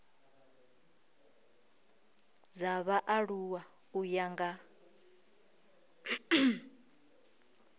dza vhaaluwa u ya nga